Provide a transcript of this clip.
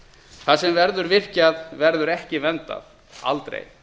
það sem verður virkjað verður ekki verndað aldrei